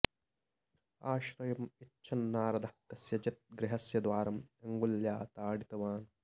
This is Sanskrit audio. आश्रयम् इच्छन् नारदः कस्यचित् गृहस्य द्वारम् अङ्गुल्या ताडितवान्